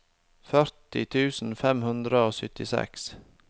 førti tusen fem hundre og syttiseks